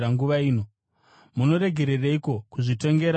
“Munoregereiko kuzvitongera zvakarurama?